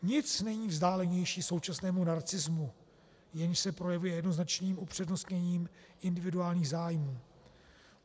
Nic není vzdálenější současnému narcismu, jenž se projevuje jednoznačným upřednostněním individuálních zájmů.